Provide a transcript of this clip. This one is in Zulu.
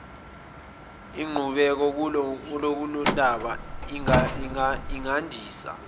inqubeko kulolundaba ingandisa